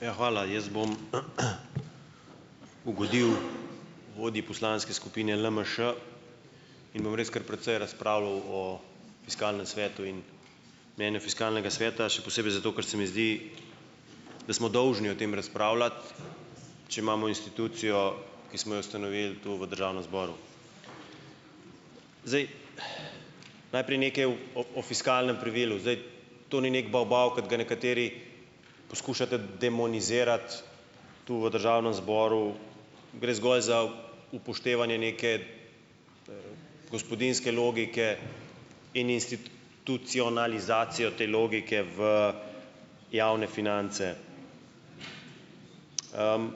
Ja, hvala. Jaz bom ugodil vodji Poslanske skupine LMŠ in bom res kar precej razpravljal o fiskalnem svetu in mnenje fiskalnega sveta še posebej, zato ker se mi zdi, da smo dolžni o tem razpravljati, če imamo institucijo, ki smo jo ustanovili tu v Državnem zboru. Zdaj ... Najprej nekaj o o fiskalnem pravilu. Zdaj ... To ni nek bavbav, kot ga nekateri poskušate demonizirati tu v Državnem zboru. Gre zgolj za upoštevanje neke gospodinjske logike in institucionalizacijo te logike v javne finance. Na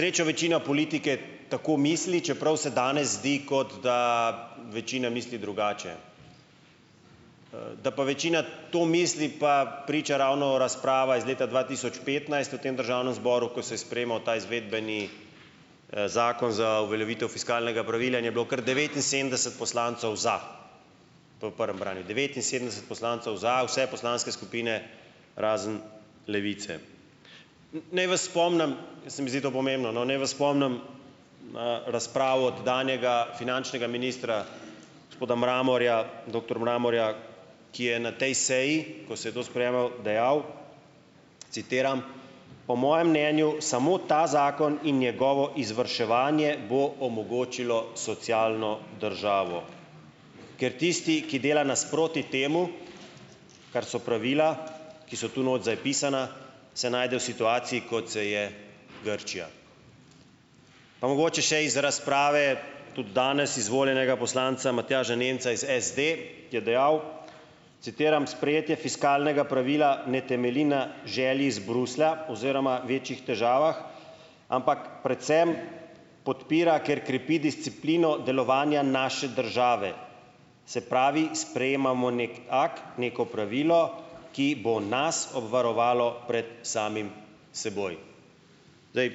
srečo večina politike tako misli, čeprav se danes zdi, kot da večina misli drugače. Da pa večina to misli, pa priča ravno razprava iz leta dva tisoč petnajst v tem Državnem zboru, ko se je sprejemal ta izvedbeni zakon za uveljavitev fiskalnega pravila in je bilo kar devetinsedemdeset poslancev za po prvem branju, devetinsedemdeset poslancev za, vse poslanske skupine razen Levice. Naj vas spomnim, ker se mi zdi to pomembno, no, naj vas spomnim na razpravo tedanjega finančnega ministra, gospoda Mramorja, doktor Mramorja, ki je na tej seji, ko se je to sprejemalo, dejal, citiram: "Po mojem mnenju samo ta zakon in njegovo izvrševanje bo omogočilo socialno državo, ker tisti, ki dela nasproti temu, kar so pravila, ki so tu not zapisana, se najde v situaciji, kot se je Grčija." Pa mogoče še iz razprave tudi danes izvoljenega poslanca Matjaža Nemca iz SD, ki je dejal, citiram: "Sprejetje fiskalnega pravila ne temelji na želji iz Bruslja oziroma večjih težavah, ampak predvsem podpira, ker krepi disciplino delovanja naše države, se pravi, sprejemamo nek akt, neko pravilo, ki bo nas obvarovalo pred samim seboj." Zdaj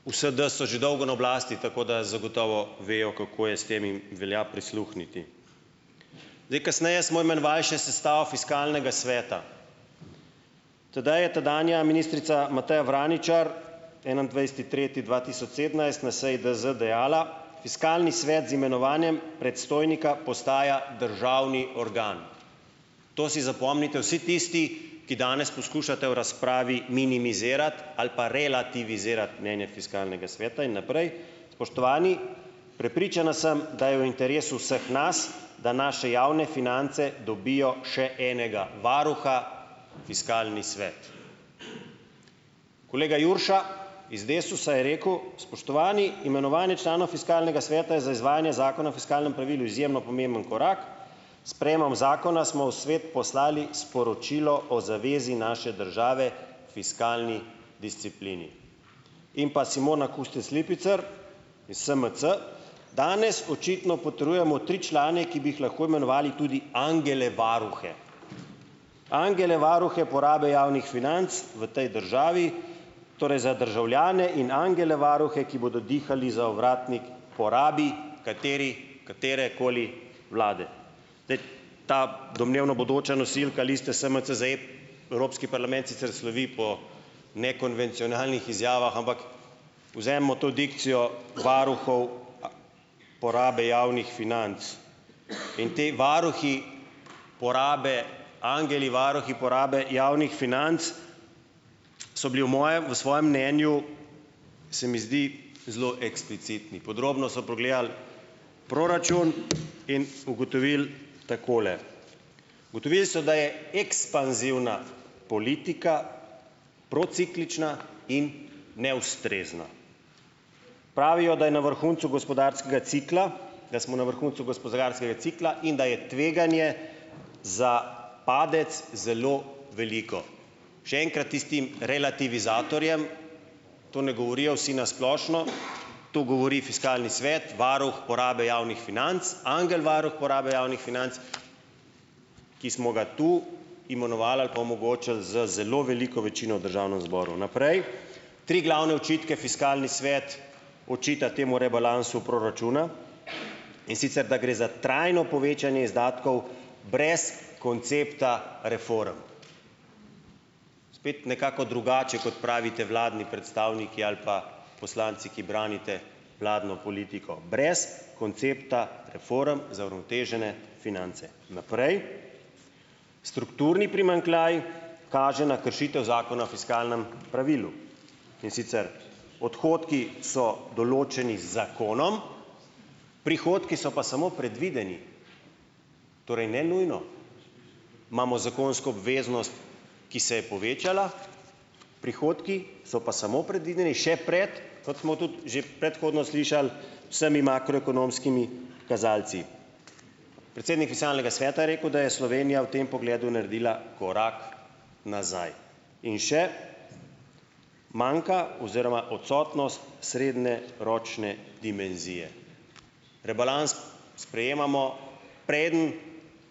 V SD so že dolgo na oblasti, tako da zagotovo vejo, kako je s tem, in velja prisluhniti. Zdaj ... Kasneje smo imenovali še sestavo Fiskalnega sveta. Tedaj je tedanja ministrica Mateja Vraničar, enaindvajseti tretji dva tisoč sedemnajst na seji DZ dejala: "Fiskalni svet z imenovanjem predstojnika postaja državni organ." To si zapomnite vsi tisti, ki danes poskušate v razpravi minimizirati ali pa relativizirati mnenje Fiskalnega sveta. In naprej: "Spoštovani, prepričana sem, da je v interesu vseh nas, da naše javne finance dobijo še enega varuha, Fiskalni svet." Kolega Jurša iz Desusa je rekel: "Spoštovani, imenovanje člana Fiskalnega sveta je za izvajanje Zakona o fiskalnem pravilu izjemno pomemben korak. S sprejemom zakona smo v svet poslali sporočilo o zavezi naše države fiskalni disciplini." In pa Simona Kustec Lipicer iz SMC: "Danes očitno potrjujemo tri člane, ki bi jih lahko imenovali tudi angele varuhe, angele varuhe porabe javnih financ v tej državi, torej za državljane, in angele varuhe, ki bodo dihali za ovratnik porabi katerekoli vlade." Zdaj ... Ta domnevno bodoča nosilka liste SMC ... Evropski parlament sicer slovi po nekonvencionalnih izjavah, ampak vzemimo to dikcijo varuhov porabe javnih financ. In potem varuhi porabe, angeli varuhi porabe javnih financ, so bili v mojem v svojem mnenju, se mi zdi, zelo eksplicitni. Podrobno so pogledali proračun in ugotovili takole, ugotovili so, da "je ekspanzivna politika prociklična in neustrezna". Pravijo, da je na vrhuncu gospodarskega cikla, da smo na vrhuncu gospodarskega cikla in da je tveganje za padec zelo veliko. Še enkrat tistim relativizatorjem, to ne govorijo vsi na splošno, to govori Fiskalni svet, varuh porabe javnih financ, angel varuh porabe javnih financ, ki smo ga tu imenovali ali pa omogočili z zelo veliko večino v Državnem zboru. Naprej, tri glavne očitke Fiskalni svet očita temu rebalansu proračuna, in sicer, da gre za trajno povečanje izdatkov brez koncepta reform. Spet nekako drugače, kot pravite vladni predstavniki ali pa poslanci, ki branite vladno politiko - brez koncepta reform za uravnotežene finance. Naprej, strukturni primanjkljaj kaže na kršitev Zakona o fiskalnem pravilu, in sicer, odhodki so določeni z zakonom, prihodki so pa samo predvideni, torej ne nujno, imamo zakonsko obveznost, ki se je povečala, prihodki so pa samo predvideni, še pred, kot smo tudi že predhodno slišali, vsemi makroekonomskimi kazalci. Predsednik Fiskalnega sveta je rekel, da je Slovenija v tem pogledu naredila korak nazaj. In še, manjka oziroma odsotnost srednjeročne dimenzije. Rebalans sprejemamo, preden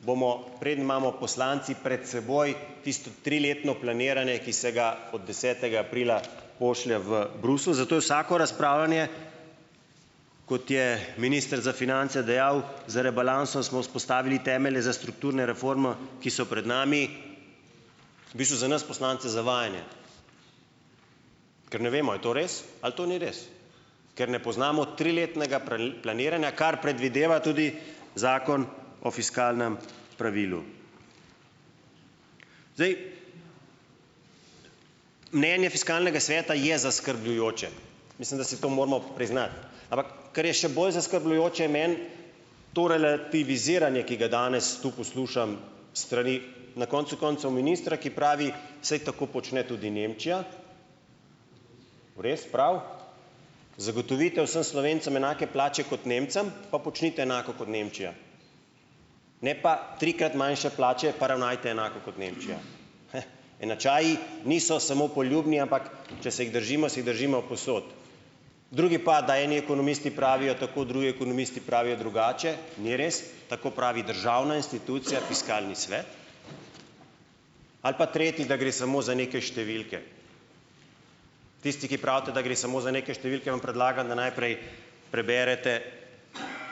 bomo, preden imamo poslanci pred seboj tisto triletno planiranje, ki se ga od desetega aprila pošlje v Bruselj. Zato je vsako razpravljanje, kot je minister za finance dejal: "Z rebalansom smo vzpostavili temelje za strukturne reform, ki so pred nami," - v bistvu za nas poslance zavajanje, ker ne vemo, a je to res ali to ni res, ker ne poznamo triletnega planiranja, kar predvideva tudi Zakon o fiskalnem pravilu. Mnenje Fiskalnega sveta je zaskrbljujoče. Mislim, da si to moramo priznati. Ampak kar je še bolj zaskrbljujoče, je meni to relativiziranje, ki ga danes tu poslušam s strani na koncu koncev ministra, ki pravi, saj tako počne tudi Nemčija. Res, prav. Zagotovite vsem Slovencem enake plače kot Nemcem, pa počnite enako kot Nemčija. Ne pa trikrat manjše plače, pa ravnajte enako kot Nemčija. Enačaji niso samo poljubni, ampak če se jih držimo, se jih držimo povsod. Drugi pa, da eni ekonomisti pravijo tako, drugi ekonomisti pravijo drugače. Ni res, tako pravi državna institucija Fiskalni svet. Ali pa tretji, da gre samo za neke številke. Tisti, ki pravite, da gre samo za neke številke, vam predlagam, da najprej preberete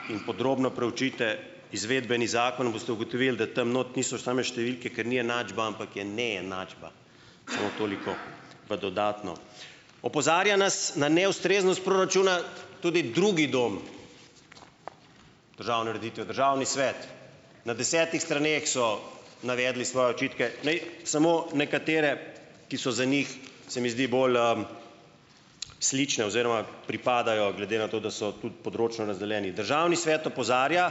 in podrobno preučite izvedbeni zakon. Boste ugotovili, da tam not niso same številke, ker ni enačba, ampak je neenačba. Samo toliko v dodatno. Opozarja nas na neustreznost proračuna tudi drugi dom državne ureditve, Državni svet. Na desetih straneh so navedli svoje očitke. Ne samo nekatere, ki so za njih, se mi zdi, bolj slične oziroma pripadajo glede na to, da so tudi področno razdeljeni. Državni svet opozarja,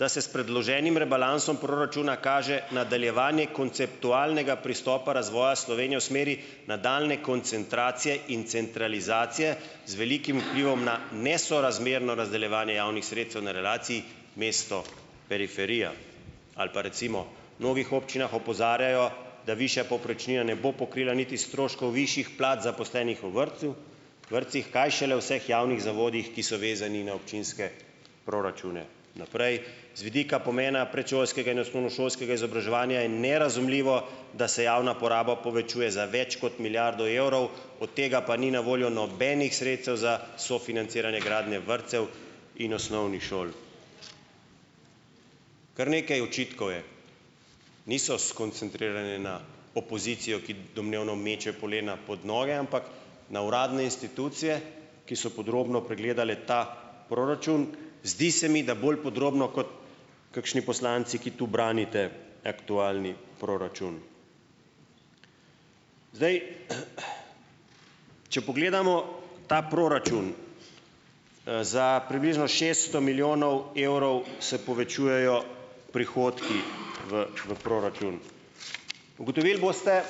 da se s predloženim rebalansom proračuna kaže nadaljevanje konceptualnega pristopa razvoja Slovenije v smeri nadaljnje koncentracije in centralizacije z velikim vplivom na nesorazmerno razdeljevanje javnih sredstev na relaciji mesto-periferija. Ali pa recimo, v mnogih občinah opozarjajo, da višja povprečnina ne bo pokrila niti stroškov višjih plač, zaposlenih v vrtcu, vrtcih, kaj šele vseh javnih zavodih, ki so vezani na občinske proračune. Naprej, z vidika pomena predšolskega in osnovnošolskega izobraževanja je nerazumljivo, da se javna poraba povečuje za več kot milijardo evrov, od tega pa ni na voljo nobenih sredstev za sofinanciranje gradnje vrtcev in osnovnih šol. Kar nekaj očitkov je, niso skoncentrirani na opozicijo, ki domnevno meče polena pod noge, ampak na uradne institucije, ki so podrobno pregledale ta proračun, zdi se mi, da bolj podrobno kot kakšni poslanci, ki tu branite aktualni proračun. Zdaj, če pogledamo ta proračun, za približno šeststo milijonov evrov se povečujejo prihodki v v proračun. Ugotovili boste,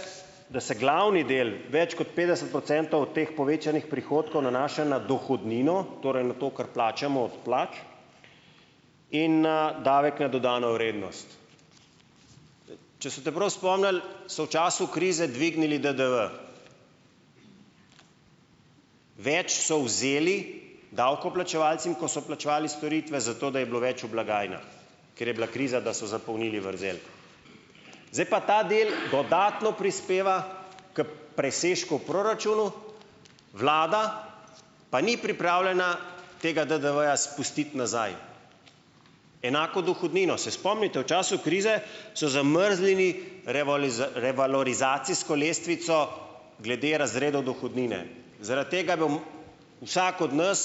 da se glavni del, več kot petdeset procentov od teh povečanih prihodkov nanaša na dohodnino, torej na to, kar plačamo od plač, in na davek na dodano vrednost. Če se boste prav spomnili, so v času krize dvignili DDV. Več so vzeli davkoplačevalcem, ko so plačevali storitve, zato da je bilo več v blagajnah, ker je bila kriza, da so zapolnili vrzel. Zdaj pa ta del dodatno prispeva k presežku v proračunu, vlada pa ni pripravljena tega DDV-ja spustiti nazaj. Enako dohodnino. Se spomnite, v času krize so zamrznili revalorizacijsko lestvico glede razredov dohodnine. Zaradi tega je bil vsak od nas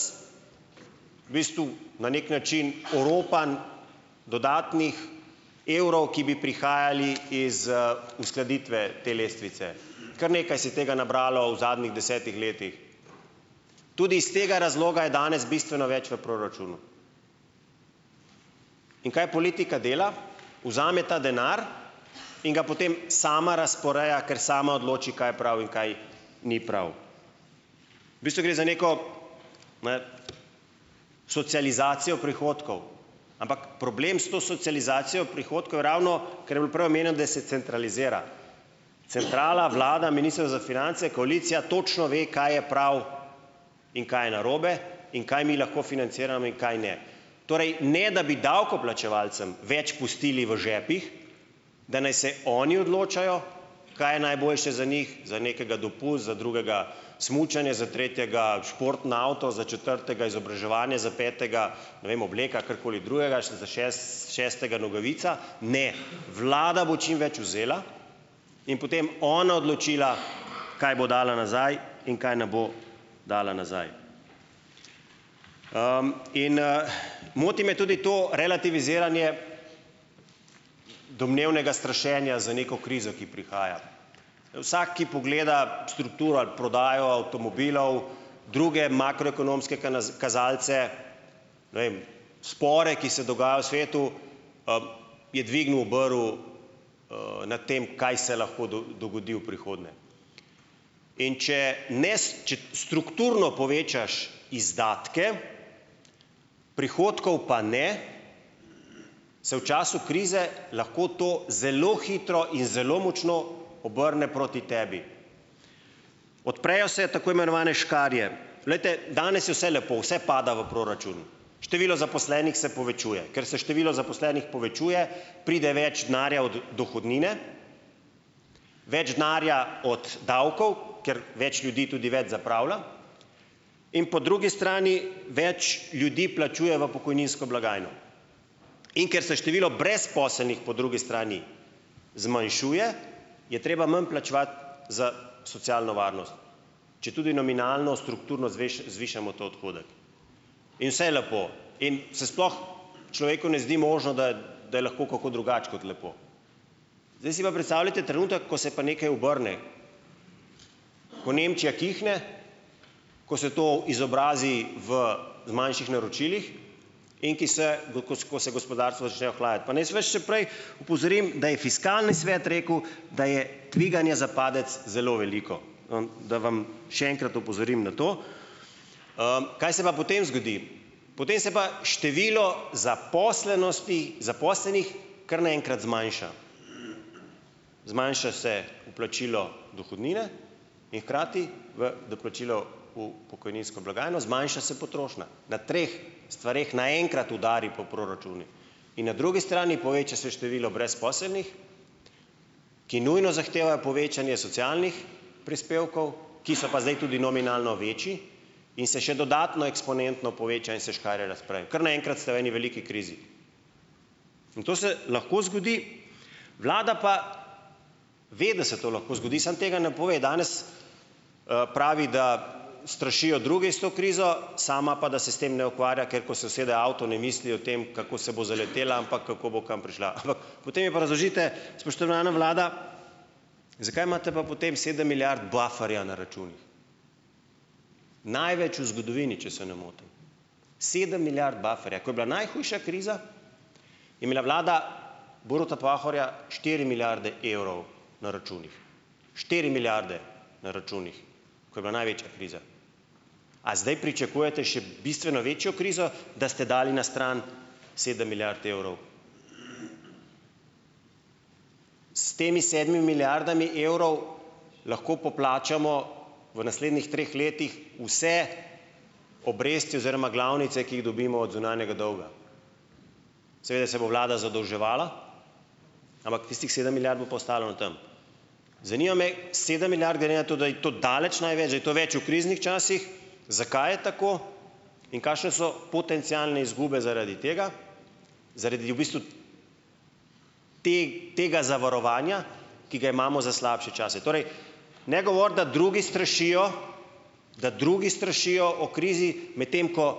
v bistvu na nek način oropan dodatnih evrov, ki bi prihajali iz uskladitve te lestvice. Kar nekaj se je tega nabralo v zadnjih desetih letih. Tudi iz tega razloga je danes bistveno več v proračunu. In kaj politika dela? Vzame ta denar in ga potem sama razporeja, ker sama odloči, kaj je prav in kaj ni prav. V bistvu gre za neko, ne, socializacijo prihodkov, ampak problem s to socializacijo prihodkov je ravno, kar je bilo prej omenjeno, da se centralizira. Centrala, vlada, Ministrstvo za finance, koalicija točno ve, kaj je prav in kaj je narobe in kaj mi lahko financiramo in kaj ne, torej ne da bi davkoplačevalcem več pustili v žepih, da naj se oni odločajo, kaj je najboljše za njih, za nekega dopust, za drugega smučanje, za tretjega športni avto, za četrtega izobraževanje, za petega, ne vem, obleka ali karkoli drugega, za šestega nogavica. Ne, vlada bo čim več vzela in potem ona odločila, kaj bo dala nazaj in kaj ne bo dala nazaj. In moti me tudi to relativiziranje domnevnega strašenja z neko krizo, ki prihaja. Vsak, ki pogleda strukturo ali prodajo avtomobilov, druge makroekonomske kazalce, ne vem spore, ki se dogajajo v svetu, je dvignil obrv nad tem, kaj se lahko dogodi v prihodnje. In če če strukturno povečaš izdatke, prihodkov pa ne, se v času krize lahko to zelo hitro in zelo močno obrne proti tebi. Odprejo se tako imenovane škarje, glejte, danes je vse lepo, vse pada v proračun, število zaposlenih se povečuje, ker se število zaposlenih povečuje, pride več denarja od dohodnine, več denarja od davkov, ker več ljudi tudi več zapravlja, in po drugi strani več ljudi plačuje v pokojninsko blagajno, in ker se število brezposelnih po drugi strani zmanjšuje, je treba manj plačevati za socialno varnost, četudi nominalno strukturno zvišamo to odhodek. In vse je lepo in se sploh človeku ne zdi možno, da da je lahko kako drugače kot lepo. Zdaj si pa predstavljajte trenutek, ko se pa nekaj obrne, ko Nemčija kihne, ko se to izobrazi v manjših naročilih in ki se ko se gospodarstvo začne ohlajati, pa naj vas še prej opozorim, da je fiskalni svet rekel, da je tveganje za padec zelo veliko, da vam še enkrat opozorim na to. Kaj se pa potem zgodi? Potem se pa število zaposlenosti, zaposlenih kar na enkrat zmanjša, zmanjša se vplačilo dohodnine in hkrati v doplačilo v pokojninsko blagajno, zmanjša se potrošnja. Na treh stvareh na enkrat udari po proračunih. In na drugi strani poveča se število brezposelnih, ki nujno zahtevajo povečanje socialnih prispevkov, ki so pa zdaj tudi nominalno večji in se še dodatno eksponentno poveča, in se škarje razprejo, kar naenkrat ste v eni veliki krizi. In to se lahko zgodi, vlada pa ve, da se to lahko zgodi, samo tega ne pove. Danes pravi, da strašijo drugi s to krizo, sama pa, da se s tem ne ukvarja, ker ko so usede v avto, ne misli o tem, kako se bo zaletela, ampak kako bo kam prišla. Ampak potem mi pa razložite, spoštovana vlada, zakaj imate pa potem sedem milijard bufferja na računih? Največ v zgodovini, če se ne motim, sedem milijard bufferja, ko je bila najhujša kriza, je imela vlada Boruta Pahorja štiri milijarde evrov na računih, štiri milijarde na računih, ko je bila največja kriza. A zdaj pričakujete še bistveno večjo krizo, da ste dali na strani sedem milijard evrov? S temi sedmimi milijardami evrov lahko poplačamo v naslednjih treh letih vse obresti oziroma glavnice, ki jih dobimo od zunanjega dolga. Seveda se bo vlada zadolževala, ampak tistih sedem milijard bo pa ostalo tam. Zanima me sedem milijard glede na to, da je to daleč največ, da je to več v kriznih časih, zakaj je tako in kakšne so potencialne izgube zaradi tega, zaradi v bistvu tega zavarovanja, ki ga imamo za slabše čase. Torej, ne govoriti, da drugi strašijo, da drugi strašijo o krizi, medtem ko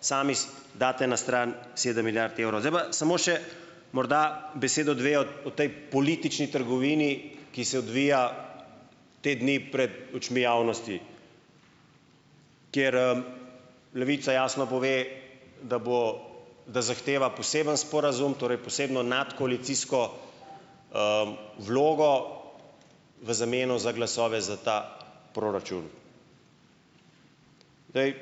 sami date na stran sedem milijard evrov. Zdaj pa samo še morda besedo dve o o tej politični trgovini, ki se odvija te dni pred očmi javnosti, kjer Levica jasno pove, da bo, da zahteva poseben sporazum, torej posebno nadkoalicijsko vlogo v zameno za glasove za ta proračun. Zdaj ...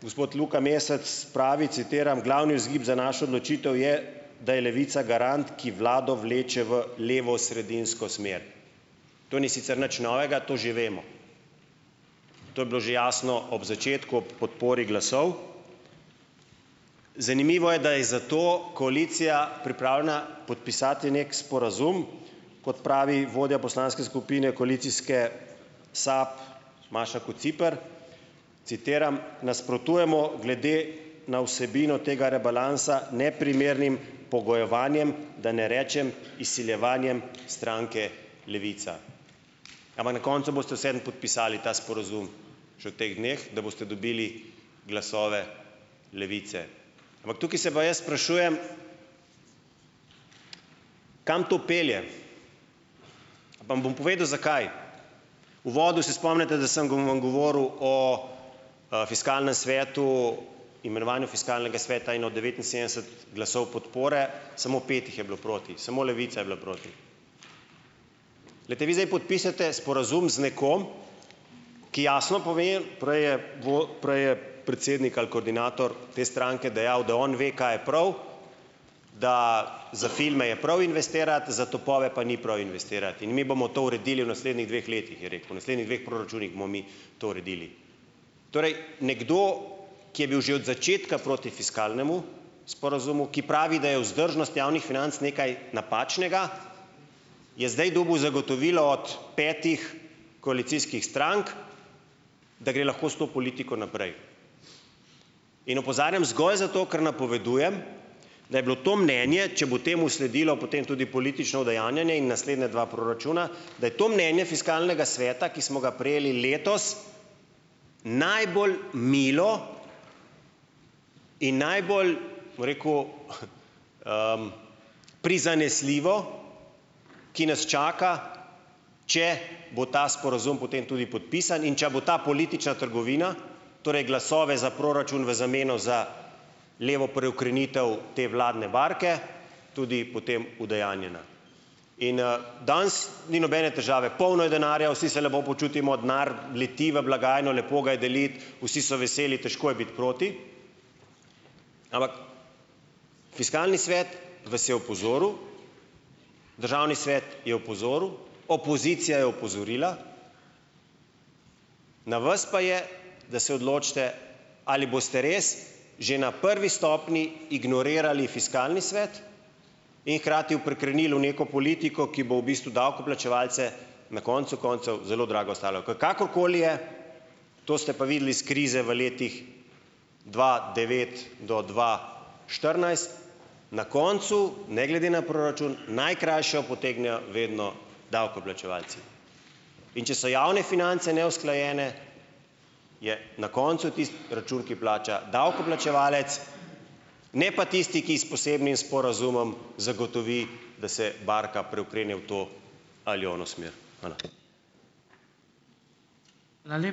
Gospod Luka Mesec pravi, citiram: "Glavni vzgib za našo odločitev je, da je Levica garant, ki vlado vleče v levosredinsko smer." To ni sicer nič novega, to že vemo, to je bilo že jasno ob začetku, podpori glasov. Zanimivo je, da je za to koalicija pripravljena podpisati nek sporazum, kot pravi vodja poslanske skupine koalicijske SAB Maša Kociper, citiram: "Nasprotujemo glede na vsebino tega rebalansa neprimernim pogojevanjem, da ne rečem izsiljevanjem stranke Levica." Ampak na koncu boste vseeno podpisali ta sporazum še v teh dneh, da boste dobili glasove Levice. Ampak tukaj se pa jaz sprašujem, kam to pelje. Pa vam bom povedal, zakaj? V uvodu se spomnite, da sem vam govoril o Fiskalnem svetu, imenovanju Fiskalnega sveta in o devetinsedemdeset glasov podpore, samo pet jih je bilo proti, samo Levica je bila proti. Poglejte, vi zdaj podpišete sporazum z nekom, ki jasno pove, prej je, prej je predsednik ali koordinator te stranke dejal, da on ve, kaj je prav, da za filme je prav investirati, za topove pa ni prav investirati, in mi bomo to uredili v naslednjih dveh letih, je rekel, v naslednjih dveh proračunih bomo mi to uredili. Torej, nekdo, ki je bil že od začetka proti fiskalnemu sporazumu, ki pravi, da je vzdržnost javnih financ nekaj napačnega, je zdaj dobil zagotovilo od petih koalicijskih strank, da gre lahko s to politiko naprej. In opozarjam zgolj zato, ker napovedujem, da je bilo to mnenje, če bo temu sledilo, potem tudi politično udejanjanje in naslednja dva proračuna, da je to mnenje Fiskalnega sveta, ki smo ga prejeli letos, najbolj milo in najbolj, bom rekel, prizanesljivo, ki nas čaka, če bo ta sporazum potem tudi podpisan in če bo ta politična trgovina, torej glasove za proračun v zameno za levo preokrenitev te vladne barke, tudi potem udejanjena. In ... Danes ni nobene težave, polno je denarja, vsi se lepo počutimo, denar leti v blagajno, lepo ga je deliti, vsi so veseli, težko je biti proti. Ampak Fiskalni svet vas je opozoril, Državni svet je opozoril, opozicija je opozorila, na vas pa je, da se odločite, ali boste res že na prvi stopnji ignorirali Fiskalni svet in hkrati preokrenili v neko politiko, ki bo v bistvu davkoplačevalce na koncu koncev zelo drago stala. V ... Kakorkoli je, to ste pa videli iz krize v letih dva devet do dva štirinajst, na koncu, ne glede na proračun, najkrajšo potegnejo vedno davkoplačevalci. In če so javne finance neusklajene, je na koncu tisti račun, ki plača davkoplačevalec, ne pa tisti, ki s posebnim sporazumom zagotovi, da se barka preokrene v to ali ono smer. Hvala.